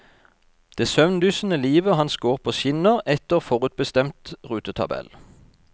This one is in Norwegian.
Det søvndyssende livet hans går på skinner etter forutbestemt rutetabell.